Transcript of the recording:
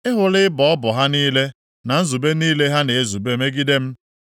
Ị hụla ịbọ ọbọ ha niile na nzube niile ha na-ezube megide m.